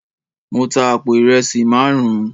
Mo tá àpò ìrẹsì márùn